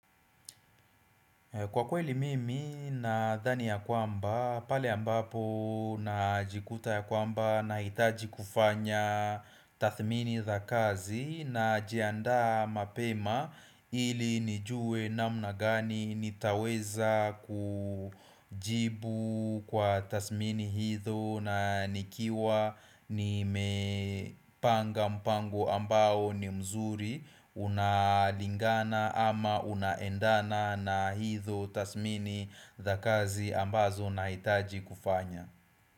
Kwa kweli mimi nadhani ya kwamba, pale ambapo najikuta ya kwamba nahitaji kufanya tathmini za kazi najianda mapema ili nijue namna gani nitaweza kujibu kwa tathmini hizo na nikiwa nimepanga mpango ambao ni mzuri Unalingana ama unaendana na hizo tathmini za kazi ambazo na hitaji kufanya.